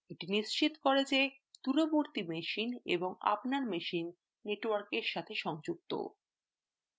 এটি নিশ্চিত করে যে দূরবর্তী machine এবং আপনার machine network সাথে সংযুক্ত